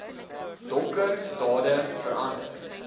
donker dade verander